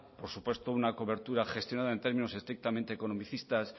por supuesto una cobertura gestionada en términos estrictamente economicistas